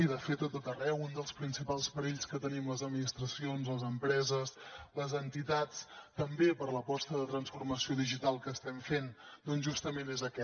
i de fet a tot arreu un dels principals perills que tenim les administracions les empreses les entitats també per l’aposta de transformació digital que estem fent doncs justament és aquest